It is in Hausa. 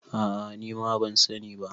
a a nima ban sani ba